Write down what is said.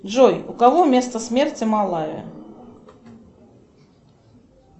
джой у кого место смерти малая